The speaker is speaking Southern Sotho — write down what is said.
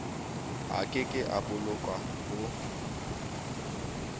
a keke a boloka ho